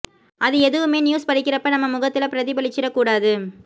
அது எதுவுமே நியூஸ் படிக்கிறப்ப நம்ம முகத்துல பிரதிபலிச்சிடக் கூடாது